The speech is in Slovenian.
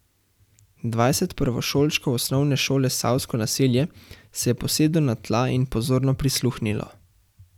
Dvajset prvošolčkov osnovne šole Savsko naselje se je posedlo na tla in pozorno prisluhnilo.